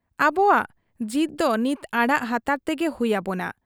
ᱟᱵᱚᱣᱟᱜ ᱡᱤᱫᱽ ᱫᱚ ᱱᱤᱛ ᱟᱲᱟᱜ ᱦᱟᱱᱛᱟᱲ ᱛᱮᱜᱮ ᱦᱩᱭ ᱟᱵᱚᱱᱟ ᱾